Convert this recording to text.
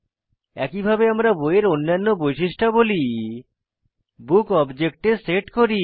একইভাবে আমরা বইয়ের অন্যান্য বৈশিষ্ট্যাবলী বুক অবজেক্টে সেট করি